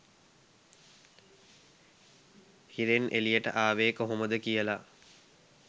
හිරෙන් එළියට ආවේ කොහොමද කියලා